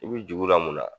I bi juru la mun na